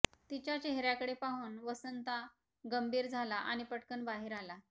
तिच्या चेहर्याकडे पाहून वसंता गंभीर झाला आणि पटकन बाहेर आला